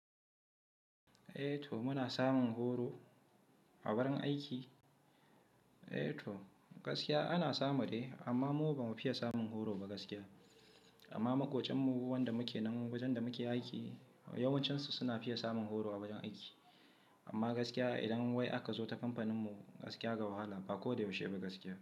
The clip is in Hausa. Eh to muna samun horo a wurin aiki. Eh to gaskiya ana samu dai amma mu ba mu fiye samun horo ba gaskiya. Amma maƙociyanmu waɗanda muke nan wajen da muke aiki yawancinsu suna fiye samun horo a wajen aiki. Amma gaskiya idan wai aka zo ta kamfaninmu gaskiya da wahala ba ko da yaushe ba gaskiya.